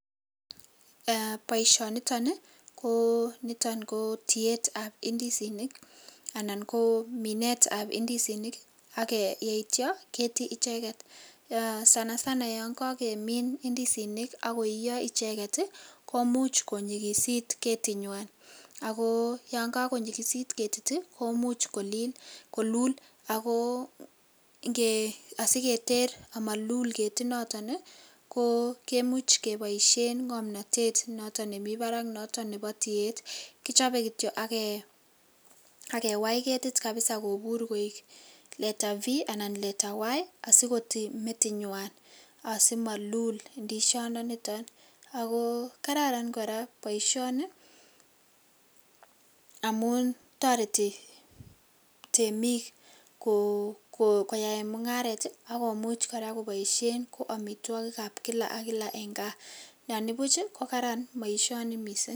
Boishoniton ko niton ko tietab indisinik anan ko minetab indisinik ak yeityo ketii icheket sana sana yoon kakemin indisinik ak koiyo icheket komuch konyikisit ketinywan ak ko yoon ko konyikisit ketit komuch kolul ak ko asiketer amalul ketinoton kemuch keboishen ng'omnotet noton nemii barak noton nebo tiet, kichobe kityo ak kewai ketit kabisa kobur kou leta v anan leta y asikotii ketinywan asimalul indisiondoniton ak ko kararan kora boishoni amun toreti temik koyaen mung'aret ak komuch kora koboishen ko amitwokikab kila ak kila en kaa, anibuch ko karan boishoni mising.